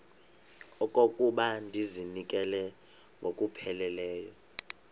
okokuba ndizinikele ngokupheleleyo